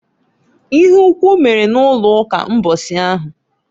Ịhe ukwu mere n'ụlọụka mbọsị ahụ.